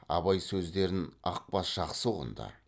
абай сөздерін ақбас жақсы ұғынды